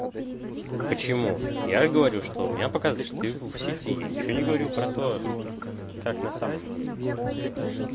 почему я говорю что у меня показывает что ты в сети я ничего не говорю про то как на самом деле